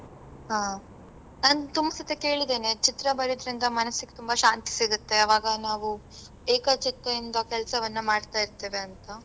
ಹಾ. ನಾನ್ ತುಂಬಾ ಸರ್ತಿ ಕೇಳಿದ್ದೇನೆ ಚಿತ್ರ ಬರಿಯುದ್ರಿಂದ ಮನಸ್ಸಿಗ್ ತುಂಬಾ ಶಾಂತಿ ಸಿಗತ್ತೆ ಆವಾಗ ನಾವು ಏಕಚಿತ್ತಯಿಂದ ಕೆಲಸವನ್ನ ಮಾಡ್ತಾ ಇರ್ತೇವಾಂತ.